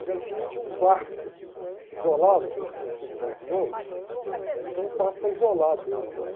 O tinha um quarto isolado, porque ele tinha sido tuberculoso, então um quarto para isolar dele lá.